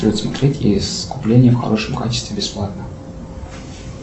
джой смотреть искупление в хорошем качестве бесплатно